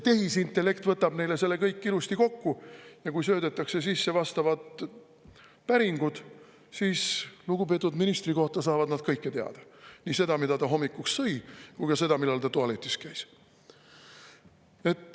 Tehisintellekt võtab neile selle kõik ilusti kokku ja kui söödetakse sisse vastavad päringud, siis lugupeetud ministri kohta saavad nad kõike teada – nii seda, mida ta hommikuks sõi, kui ka seda, millal ta tualetis käis.